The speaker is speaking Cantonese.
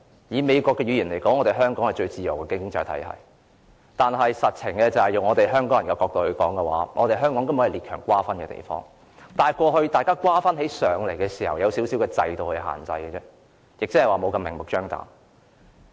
以美國的語言來說，香港是最自由的經濟體系，但從香港人的角度而言，香港實際根本是列強瓜分的地方，只是過去列強瓜分時，受到一點制度限制，沒有這麼明目張膽。